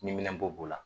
Ni minɛn bɔ b'o la